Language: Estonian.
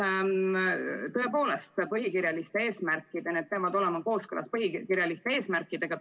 Tõepoolest, need peavad olema kooskõlas põhikirjaliste eesmärkidega.